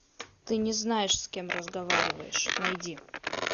ты не знаешь с кем разговариваешь найди